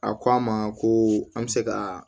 A ko an ma ko an bɛ se ka